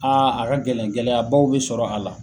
Aa a ka gɛlɛn gɛlɛya baw be sɔrɔ a la